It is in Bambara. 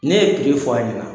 Ne ye fɔ a ɲɛna.